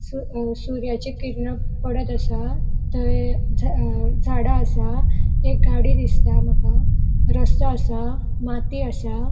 सु अ सूर्याची किरणा पडत असा थंय ज अ झाडा असा एक गाड़ी दिसता मका रस्तो असा माती असा.